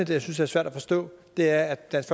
jeg synes er svært at forstå er at dansk